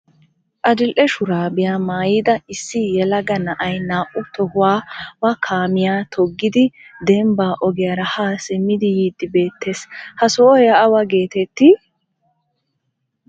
adil''e shurabiya maayida issi yelaga na'ay naa''u tohuwawa kaamiya toggidi dembba ogiyaara ha simmidi yiidi beettees, ha sohoy awa getetti?